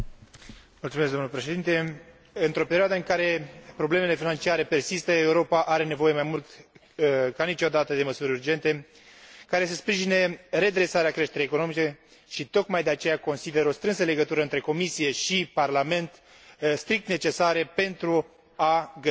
Într o perioadă în care problemele financiare persistă, Europa are nevoie mai mult ca niciodată de măsuri urgente, care să sprijine redresarea creșterii economice și, tocmai de aceea, consider o strânsă legătură între Comisie și Parlament strict necesară pentru a găsi soluții de succes.